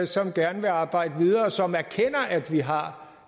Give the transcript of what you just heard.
som gerne vil arbejde videre og som erkender at vi har